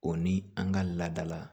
O ni an ka laada la